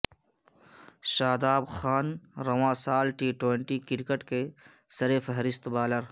شاداب خان رواں سال T twenty cricket کے سرفہرست بالر